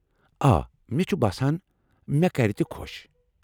آ، مےٚ چُھ باسان مے٘ كرِ تہِ خو٘ش ۔